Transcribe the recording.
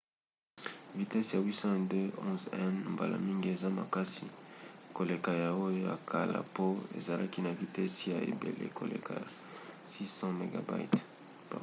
vitese ya 802,11n mbala mingi eza makasi koleka ya oyo ya kala po ezalaki na vitese ya ebele koleka ya 600mbit/s